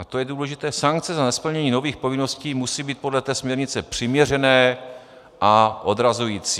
A to je důležité - sankce za nesplnění nových povinností musí být podle té směrnice přiměřené a odrazující.